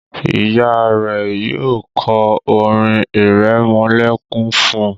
Ìyá rẹ yóò ko orin iremolekun fún.